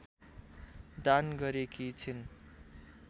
दान गरेकी छिन्